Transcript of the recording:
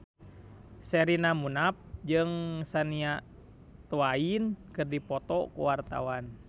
Sherina Munaf jeung Shania Twain keur dipoto ku wartawan